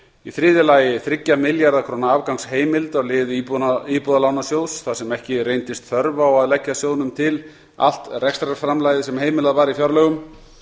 í þriðja lagi þriggja milljarða króna afgangsheimild á lið íbúðalánasjóðs þar sem ekki reyndist þörf á að leggja sjóðnum til allt rekstrarframlagið sem heimilað var í fjárlögum